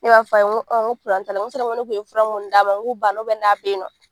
Ne b'a f'a ye n ko n ko n ko ne kun ye fura munnu d'a ma n k'u banna n'a bɛ ye nɔ.